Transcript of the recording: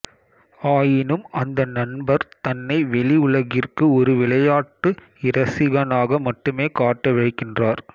ஆயினும் அந்த நண்பர் தன்னை வெளி உலகிற்கு ஒரு விளையாட்டு இரசிகனாக மட்டுமே காட்ட விழைகின்றார்